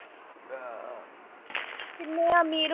ਕਿੰਨੇ ਆ ਅਮੀਰ।